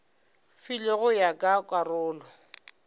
filwego go ya ka karolo